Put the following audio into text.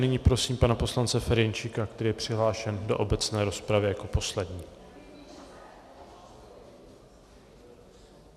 Nyní prosím pana poslance Ferjenčíka, který je přihlášen do obecné rozpravy jako poslední.